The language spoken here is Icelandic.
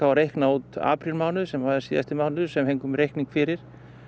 að reikna út aprílmánuð sem var síðasti mánuður sem við fengum reikning fyrir